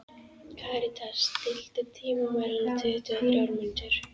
Karítas, stilltu tímamælinn á tuttugu og þrjár mínútur.